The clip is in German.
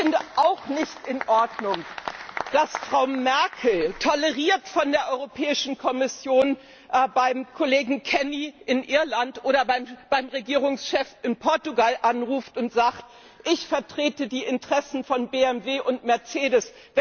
Ich finde auch nicht in Ordnung, dass Frau Merkel toleriert von der Kommission beim Kollegen Kenny in Irland oder beim Regierungschef in Portugal anruft und sagt Ich vertrete die Interessen von BMW und Mercedes.